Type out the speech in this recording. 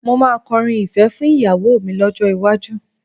Mo máa kọrin ìfẹ́ fún ìyàwó mi lọ́jọ́ iwájú